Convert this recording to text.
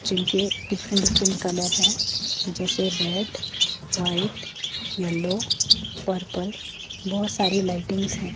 जिनके different different colour है जैसे रेड वाइट येलो पर्पल बहुत सारी लाइटिंग्स है।